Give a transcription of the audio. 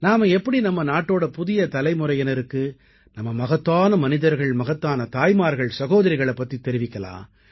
நாம எப்படி நம்ம நாட்டோட புதிய தலைமுறையினருக்கு நம்ம மகத்தான மனிதர்கள் மகத்தான தாய்மார்கள்சகோதரிகளைப் பத்தி தெரிவிக்கலாம்